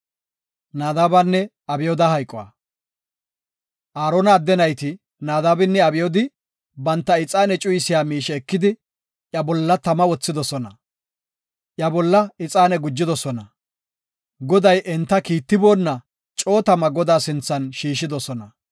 Aarona adde nayti, Naadabinne Abyoodi, banta ixaane cuyisiya miishe ekidi iya bolla tama wothidosona; iya bolla ixaane gujidosona. Goday enta kiittiboona coo tama Godaa sinthan shiishidosona.